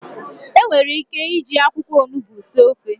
Enwere ike iji akwụkwọ onugbu sie ofe.